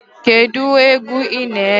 Kedụ egwu ị na-ege?